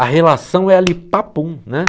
A relação é ali, papum, né?